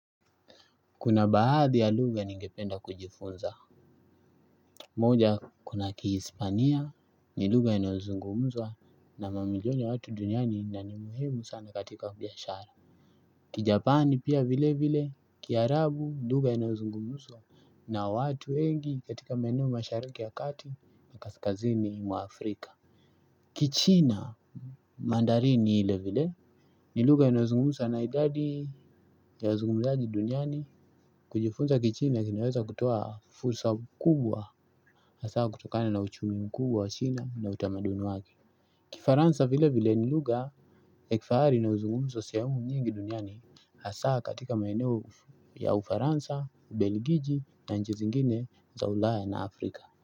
Kuna baadhi ya lugha ningependa kujifunza. Moja kuna kihispania ni lugha inayozungumzwa na mamilioniya watu duniani na ni muhimu sana katika biashara Kijapani pia vile vile kiarabu lugha inayozungumzwa na watu wengi katika maeneo mashariki ya kati na kaskazini mwa Afrika Kichina mandari ni ile vile ni lugha inayozungumzwa na idadi yawa zungumzaji duniani. Kujifunza kichina kinaweza kutoa fursa kubwa hasaa kutokana na uchumi mkubwa wa china na utamaduni wake Kifaransa vile vile ni lugha yakifahari inayo zungumzwa sehemu nyingi duniani hasaa katika maeneo ya ufaransa, ubeligiji na nchizingine za ulaya na afrika.